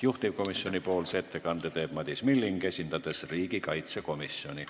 Juhtivkomisjoni ettekande teeb Madis Milling, esindades riigikaitsekomisjoni.